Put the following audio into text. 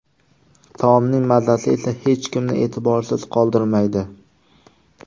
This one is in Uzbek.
Taomning mazasi esa hech kimni e’tiborsiz qoldirmaydi”.